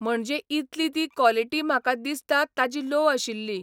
म्हणजे इतली ती कॉलेटी म्हाका दिसता ताजी लोव आशिल्ली.